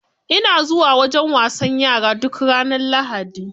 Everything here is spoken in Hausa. Ina zuwa wajen wasan yara duk ranar lahadi.